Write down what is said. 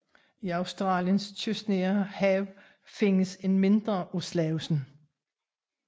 I Australiens kystnære hav findes en mindre af slagsen